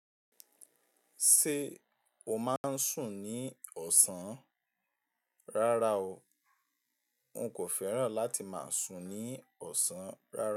Ṣé o máa ń sùn ní ọ̀sán? Rárá o. Nkò fẹ́ràn láti máa sùn ní ọ̀sán rárá.